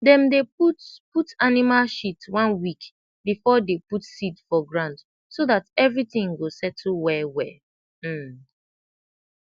dem dey put put animal shit one week before dey put seed for ground so dat everytin go settle well well um